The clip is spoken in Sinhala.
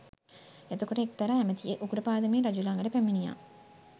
එතකොට එක්තරා ඇමතියෙක් උගුර පාදමින් රජු ළඟට පැමිණියා